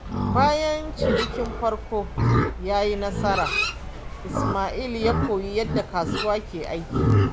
Bayan cinikin farko ya yi asara, Isma’il ya koyi yadda kasuwa ke aiki.